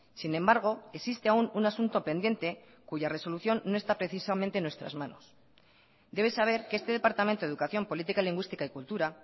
sin embargo existe aún un asunto pendiente cuya resolución no está precisamente en nuestras manos debe saber que este departamento de educación política lingüística y cultura